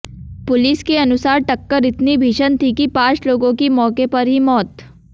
police के अनुसार टक्कर इतनी भीषण थी कि पांच लोगों की मौके पर ही मौत